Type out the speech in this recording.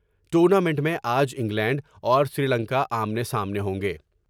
ٹورنا minute میں آ ج انگلینڈ اور سری لنکا آمنے سامنے ہوں گے ۔